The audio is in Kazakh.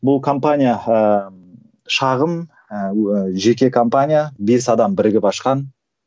бұл компания ыыы шағын ыыы жеке компания бес адам бірігіп ашқан